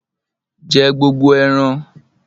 Jẹ gbogbo eran!